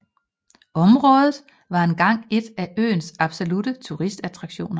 Området var engang en af øens absolutte turistattraktioner